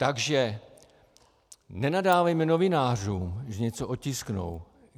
Takže nenadávejme novinářům, že něco otisknou.